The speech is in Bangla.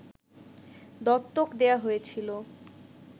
দত্তক দেয়া হয়েছিল